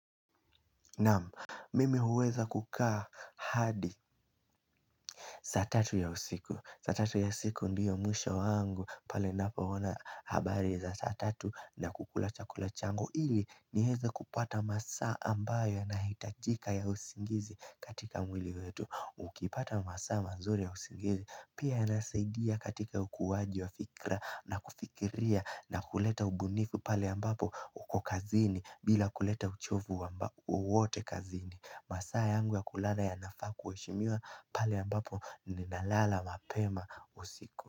Naam, mimi huweza kukaa hadi saa tatu ya usiku. Saa tatu ya usiku ndio mwisho wangu pale ninapoona habari za saa tatu na kukula chakula changu ili nieze kupata masaa ambayo yanahitajika ya usingizi katika mwili wetu Ukipata masaa mazuri ya usingizi pia yanasaidia katika ukuaji wa fikra na kufikiria na kuleta ubunifu pale ambapo uko kazini bila kuleta uchovu wowote kazini. Masaa yangu ya kulala yanafaa kuheshimiwa paei ambapo ninalala mapema usiku.